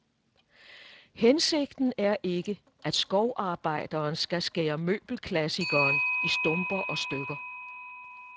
Hensigten er ikke, at skovarbejderen skal skære møbelklassikeren i stumper og stykker.